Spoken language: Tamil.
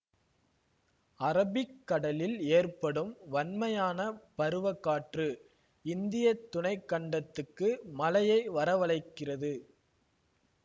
அரபிக்கடலில் ஏற்படும் வன்மையான பருவக் காற்று இந்திய துணை கண்டத்துக்கு மழையை வரவழைக்கிறது